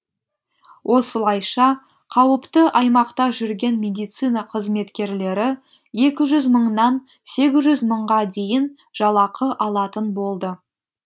осылайша қауіпті аймақта жүрген медицина қызметкерлері екі жүз мыңнан сегіз жүз мыңға дейін жалақы алатын болды